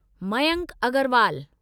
Mayank Agarwal